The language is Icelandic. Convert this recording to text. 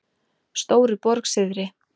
Stóruborg syðri